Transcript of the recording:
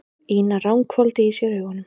Ína ranghvolfdi í sér augunum.